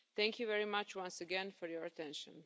Thank you very much once again for your attention.